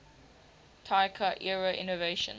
taika era innovation